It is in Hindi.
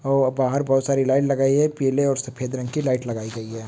और बाहर बहोत सारी लाइन लगाई हे पील और सफ़ेद रंग की लाइट लगाई गई हे।